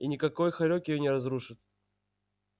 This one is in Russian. и никакой хорёк её не разрушит